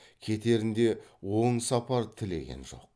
кетерінде оң сапар тілеген жоқ